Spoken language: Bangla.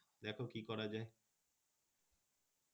দেখো কি করা যায়?